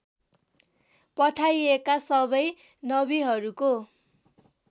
पठाइएका सबै नबिहरूको